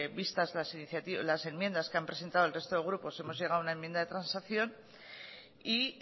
vistas las enmiendas que han presentado el resto de grupos hemos llegado a una enmienda de transacción y